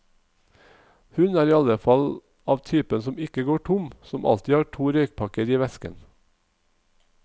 Hun er i alle fall av typen som ikke går tom, som alltid har to røykpakker i vesken.